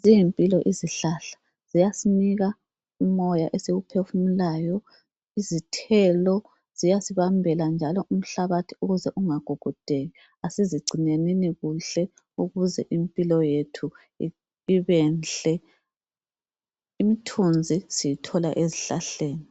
Ziyimpilo izihlahla ziyasinika umoya esiwu phefumulayo, izithelo ziyasibambela njalo umhlabathi ukuze unga gugudeki asizigcinenini kuhle ukuze impilo yethu ibenhle. Imthunzi siyithola ezihlahleni,